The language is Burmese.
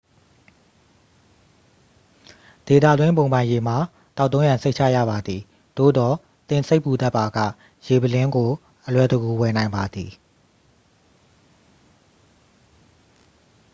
ဒေသတွင်း ဘုံပိုင်ရေမှာ သောက်သုံးရန် စိတ်ချရပါသည် သို့သော် သင်စိတ်ပူတတ်ပါက ရေပုလင်းကို အလွယ်တကူ ဝယ်နိုင်ပါသည်